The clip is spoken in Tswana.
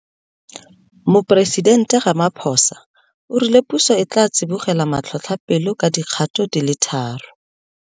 Moporesidente Ramaphosa o rile puso e tla tsibogela matlhotlhapelo ka dikgato di le tharo.